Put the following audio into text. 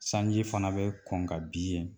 Sanji fana bɛ kɔn ka bin yen